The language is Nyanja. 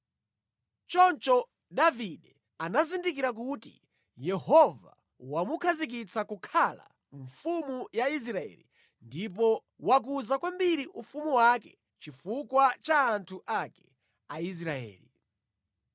Choncho Davide anazindikira kuti Yehova wamukhazikitsa kukhala mfumu ya Israeli ndipo wakuza kwambiri ufumu wake chifukwa cha anthu ake, Aisraeli.